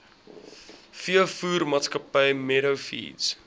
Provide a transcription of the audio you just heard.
veevoermaatskappy meadow feeds